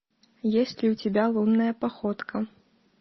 есть ли у тебя лунная походка